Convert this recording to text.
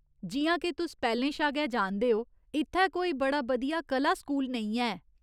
जि'यां के तुस पैह्‌लें शा गै जानदे ओ, इत्थै कोई बड़ा बधिया कला स्कूल नेईं है।